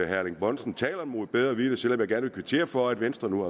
erling bonnesen taler mod bedre vidende selv om jeg gerne vil kvittere for at venstre nu